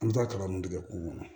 An bɛ taa kalan mun kɛ kulu kɔnɔ